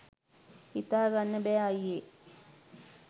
හිතා ගන්න බෑ අයියේ.